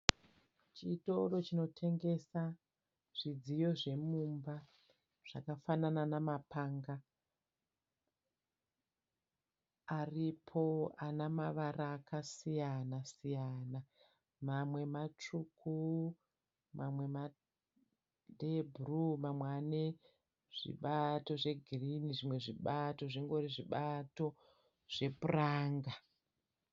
Chitoro chinotengesa zvidziyo zvemumba zvakafanana namapanga. Aripo anamavara akasiyana siyana. Mamwe matsvuku, mamwe ndeebhuruu mamwe ane zvibato zvegirinhi, zvimwe zvibato zvingori zvibato zvepuranga.